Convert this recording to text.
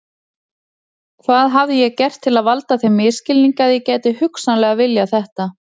Hvað hafði ég gert til að valda þeim misskilningi að ég gæti hugsanlega viljað þetta?